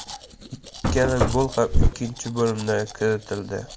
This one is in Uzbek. Ikkala gol ham ikkinchi bo‘limda kiritildi.